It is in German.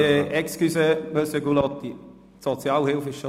Excusez, Monsieur Gullotti, der Themenblock Sozialhilfe ist abgeschlossen.